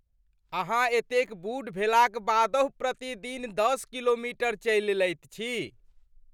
अहाँ एतेक बूढ़ भेलाक बादहु प्रतिदिन दश किलोमीटर चलि लैत छी?